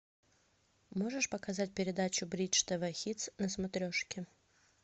можешь показать передачу бридж тв хитс на смотрешке